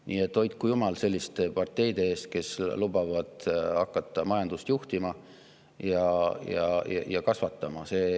Nii et hoidku jumal selliste parteide eest, kes lubavad hakata majandust juhtima ja kasvatama.